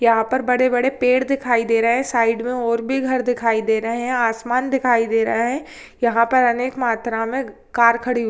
यहाँ पर बड़े बड़े पेड़ दिखाई दे रहे है साइड में और भी घर दिखाई दे रहे है आसमान दिखाई दे रहा है यहाँ पर अनेक मात्रा में कार खड़ी हु--